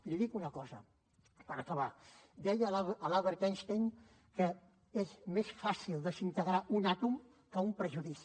i li dic una cosa per acabar deia l’albert einstein que és més fàcil desintegrar un àtom que un prejudici